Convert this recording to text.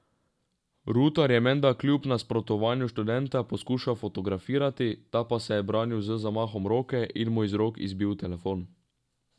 Rutar je menda kljub nasprotovanju študenta poskušal fotografirati, ta pa se je branil z zamahom roke in mu iz rok izbil telefon.